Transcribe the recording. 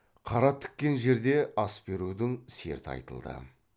қара тіккен жерде ас берудің серті айтылды